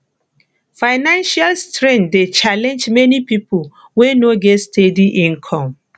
financial strain dey challenge many people wey no get steady income